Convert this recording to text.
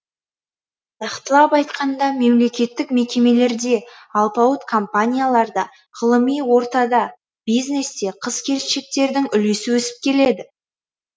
нақтылап айтқанда мемлекеттік мекемелерде алпауыт компанияларда ғылыми ортада бизнесте қыз келіншектердің үлесі өсіп келеді